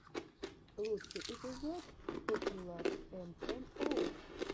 лучший эпизод попьюлар эм эм оус